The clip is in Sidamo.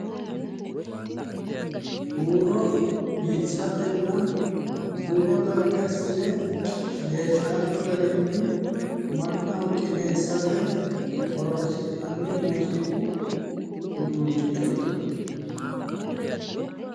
Huuro biifisatenna huuro naggibassine leeltanno garinni mannaho qineessate horonsi'nanni muuziiqu uduunnichooti.